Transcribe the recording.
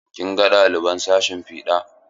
Kin ga ɗaliban sashin fiɗa?